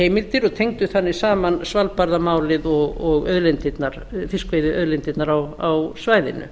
fiskveiðiheimildir og tengdu þannig saman svalbarðamálið og fiskveiðiauðlindirnar á svæðinu